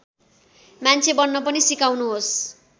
मान्छे बन्न पनि सिकाउनुहोस्